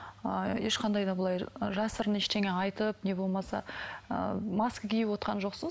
ыыы ешқандай да былай жасырын ештеңе айтып не болмаса ыыы маска киіп отырған жоқсыз